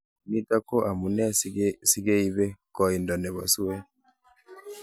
nitok ko amunee sege ibe koindo nepo siweet.